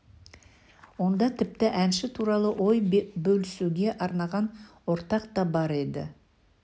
онда тіпті әнші туралы ой бөлісуге арналған ортақ та бар еді